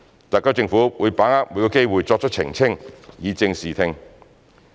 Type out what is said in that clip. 特區政府會把握每個機會作出澄清，以正視聽。